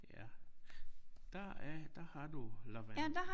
Ja der er der har du lavendel